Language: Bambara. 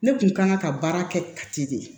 Ne kun kan ka baara kɛ kati de